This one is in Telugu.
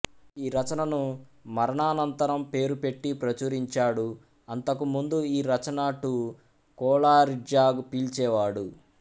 ఈ రచనను మరణానంతరం పేరు పెట్టి ప్రచురించాడు అంతకుముందు ఈ రచన టూ కొలరిడ్జ్గా పిల్చే వాడు